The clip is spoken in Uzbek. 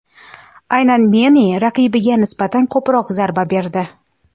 Aynan Menni raqibiga nisbatan ko‘proq zarba berdi.